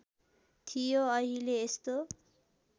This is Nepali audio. थियो अहिले यस्तो